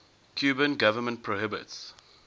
cuban government prohibits